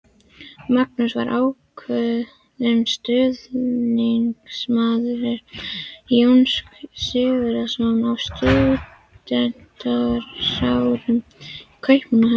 Magnús var ákafur stuðningsmaður Jóns Sigurðssonar á stúdentsárum í Kaupmannahöfn.